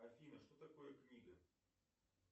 афина что такое книга